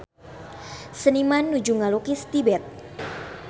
Seniman nuju ngalukis Tibet